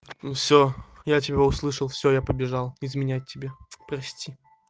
всё я тебя услышал всё я побежал изменять тебе прости